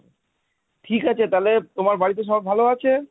ঠিক আছে তাহলে তোমার বাড়িতে সবাই ভালো আছে?